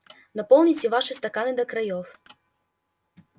наполните ваши стаканы до краёв